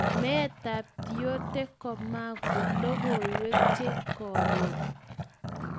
Meetap Tiote komago logoiwek che koron.